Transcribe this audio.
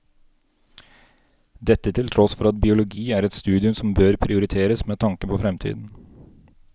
Dette til tross for at biologi er et studium som bør prioriteres med tanke på fremtiden.